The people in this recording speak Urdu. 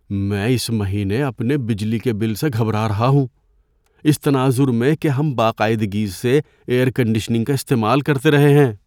میں اس مہینے اپنے بجلی کے بل سے گھبرا رہا ہوں، اس تناظر میں کہ ہم باقاعدگی سے ایئر کنڈیشننگ کا استعمال کرتے رہے ہیں۔